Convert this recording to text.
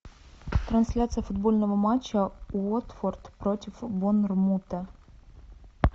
трансляция футбольного матча уотфорд против борнмута